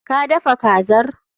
Ka dafa kazar?